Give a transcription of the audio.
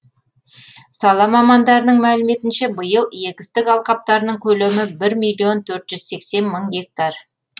сала мамандарының мәліметінше биыл егістік алқаптарының көлемі бір миллион төрт жүз сексен мың гектар